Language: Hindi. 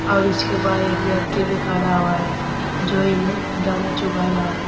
और इसके बाहर एक व्यक्ति भी खड़ा हुआ है जो इन्हें दाना चुगा रहा है।